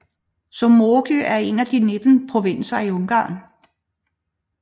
Somogy er en af de 19 provinser i Ungarn